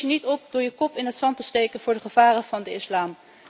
Dat los je niet op door je kop in het zand te steken voor de gevaren van de islam.